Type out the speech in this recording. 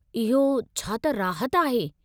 इहो छा त राहत आहे।